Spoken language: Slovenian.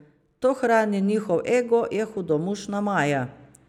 To hrani njihov ego, je hudomušna Maja.